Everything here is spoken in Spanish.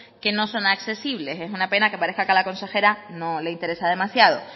que no son accesibles es una pena que parezca que a la consejera no le interesa demasiado